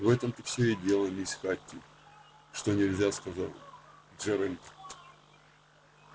в этом-то все и дело мисс хэтти что нельзя сказал джералд